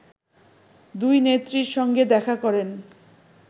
দুইনেত্রীর সঙ্গে দেখা করেন